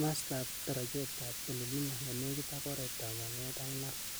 mastap darachet ap Ololunga ne nenik ak oret ap Bomet ak Narok.